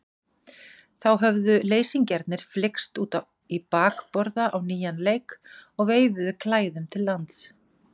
Þá höfðu leysingjarnir flykkst út í bakborða á nýjan leik og veifuðu klæðum til lands.